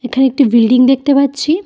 এখানে একটি বিল্ডিং দেখতে পাচ্ছি।